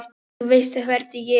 Þú veist hvernig ég er.